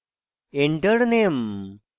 enter name: